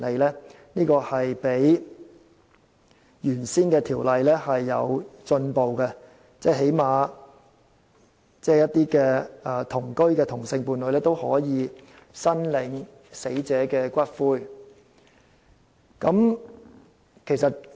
這較以前的法例有進步，因為最低限度，同居的同性伴侶也可以申領死者的骨灰。